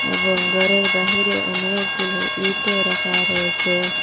এবং ঘরের বাহিরে অনেকগুলো ইটও রাখা রয়েছে।